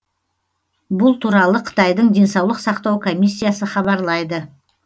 бұл туралы қытайдың денсаулық сақтау комиссиясы хабарлайды